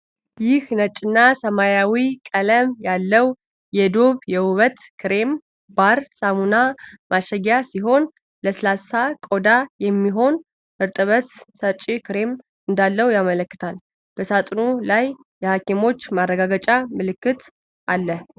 ይህ ነጭና ሰማያዊ ቀለም ያለው የዶቭ "የውበት ክሬም ባር" ሳሙና ማሸጊያ ሲሆን፣ ለስላሳ ቆዳ የሚሆን እርጥበት ሰጪ ክሬም እንዳለው ያመለክታል። በሳጥኑ ላይ የሀኪሞች ማረጋገጫ ምልክት አለ።